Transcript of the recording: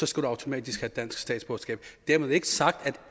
skal du automatisk have dansk statsborgerskab dermed ikke sagt at